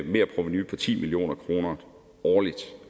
merprovenu på ti million kroner årligt